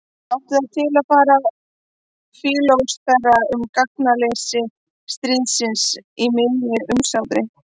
Hann átti það til að fara að fílósófera um gagnsleysi stríðs í miðju umsátri.